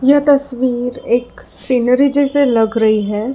यह तस्वीर एक सीनरी जैसे लग रही है।